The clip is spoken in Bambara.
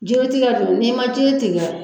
Jotigiya don n'i ma jo tigɛ.